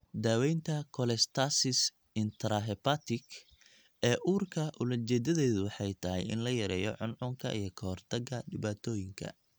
Daawaynta cholestasis intrahepatic ee uurka ujeedadeedu waxay tahay in la yareeyo cuncunka iyo ka hortagga dhibaatooyinka.